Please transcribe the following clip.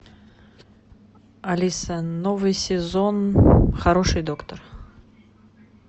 алиса новый сезон хороший доктор